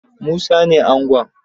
Musa ne angon